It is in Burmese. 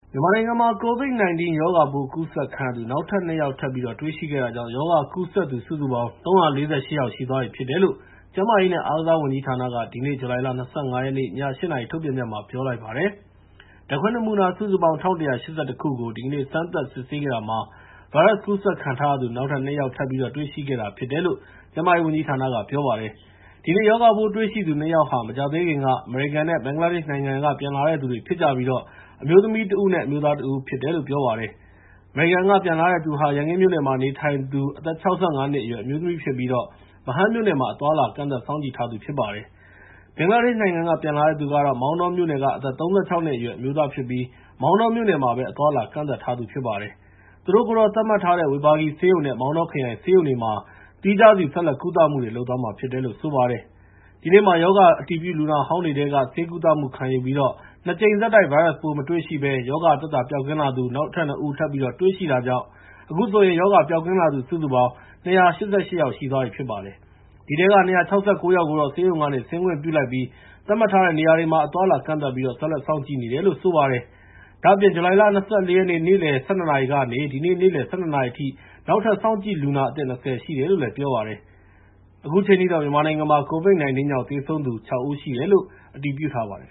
မြန်မာနိုင်ငံမှာ COVID-19 ရောဂါပိုး ကူးစက်ခံရသူ နောက်ထပ် ၂ ယောက် ထပ်တွေ့ရှိခဲ့တာကြောင့် ရောဂါကူးစက်သူ စုစုပေါင်း ၃၄၈ ယောက် ရှိသွားပြီလို့ ကျန်းမာရေးနဲ့ အားကစားဝန်ကြီးဌာနက ဒီနေ့ ဇူလိုင် ၂၅ ရက် ည ၈ နာရီ ထုတ်ပြန်ချက်မှာ ပြောလိုက်ပါတယ်။ ဓာတ်ခွဲနမူနာ ၁,၁၈၁ ခုကို ဒီကနေ့ စမ်းသပ်စစ်ဆေးခဲ့တာမှာ ဗိုင်းရပ်စ်ကူးစက်ခံထားရသူ ၂ ယောက် ထပ်ပြီးတော့ တွေ့ရှိခဲ့တာဖြစ်တယ်လို့ ကျန်းမာရေးဝန်ကြီးဌာနက ပြောပါတယ်။ ဒီနေ့ ရောဂါပိုးတွေ့ရှိသူ ၂ ယောက်ဟာ မကြာသေးခင်က အမေရိကန်နဲ့ ဘင်္ဂလားဒေ့ရှ်နိုင်ငံတွေက ပြန်လာကြတဲ့သူတွေဖြစ်ပြီး အမျိုးသမီးတဦး၊ အမျိုးသားတဦး ဖြစ်တယ်လို့ ပြောပါတယ်။ အမေရိကန်က ပြန်လာတဲ့သူက ရန်ကင်းမြို့နယ်မှာ နေထိုင်သူ အသက် ၆၅ နှစ်အရွယ် အမျိုးသမီးဖြစ်ပြီး ဗဟန်းမြို့နယ်မှာ အသွားအလာ ကန့်သတ်စောင့်ကြည့်ထားသူ ဖြစ်ပါတယ်။ ဘင်္ဂလားဒေ့ရှ်နိုင်ငံက ပြန်လာတဲ့သူကတော့ မောင်တောမြို့နယ်က အသက် ၃၆ နှစ်အရွယ် အမျိုးသားဖြစ်ပြီး မောင်တောမြို့နယ်မှာပဲ အသွားအလာ ကန့်သတ်ထားရှိသူ ဖြစ်ပါတယ်။ သူတို့ကိုတော့ သတ်မှတ်ထားတဲ့ ဝေဘာဂီဆေးရုံနဲ့ မောင်တောခရိုင် ဆေးရုံတွေမှာ သီးခြားစီ ဆက်လက်ကုသမှုတွေ လုပ်သွားမှာဖြစ်တယ်လို့ ဆိုပါတယ်။ ဒီနေ့မှာ ရောဂါအတည်ပြု လူနာဟောင်းတွေထဲက ဆေးကုသမှုခံယူပြီး ၂ ကြိမ်ဆက်တိုက် ဗိုင်းရပ်စ်ပိုးမတွေ့ရှိဘဲ ရောဂါပျောက်ကင်းလာသူ ၂ ဦး ထပ်တွေ့တာကြောင့် အခုဆိုရင် ရောဂါပျောက်ကင်းလာသူ စုစုပေါင်း ၂၈၈ ယောက်ရှိပြီ ဖြစ်ပါတယ်။ အဲဒီထဲက ၂၆၉ ယောက်ကိုတော့ ဆေးရုံကနေ ဆင်းခွင့်ပြုလိုက်ပြီး သတ်မှတ်ထားတဲ့ နေရာတွေမှာ အသွားအလာ ကန့်သတ်ပြီး ဆက်လက် စောင့်ကြည့်နေတယ်လို့ ပြောပါတယ်။ ဒါ့အပြင် ဇူလိုင်လ ၂၄ ရက် နေ့လယ် ၁၂ နာရီကနေ ဒီနေ့ နေ့လယ် ၁၂ နာရီအထိ စောင့်ကြည့်လူနာအသစ် ၂၀ ရှိတယ်လို့ ပြောပါတယ်။ မြန်မာနိုင်ငံမှာ COVID-19 ကြောင့် သေဆုံးသူ ၆ ဦးရှိတယ်လို့ အတည်ပြုထားပါတယ်